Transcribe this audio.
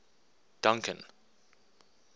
duncan